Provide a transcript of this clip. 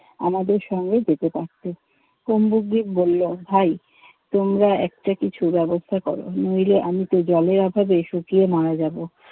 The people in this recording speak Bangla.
আমাদের সঙ্গে যেতে পারতে। কুম্ভগ্রিত বলল ভাই তোমরা একটা কিছুর ব্যবস্থা করো। নইলে আমি তো জলের অভাবে শুকিয়ে মারা যাবো।